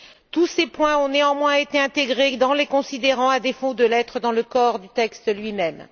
Tous ces points ont néanmoins été intégrés dans les considérants, à défaut de l'être dans le corps du texte lui même.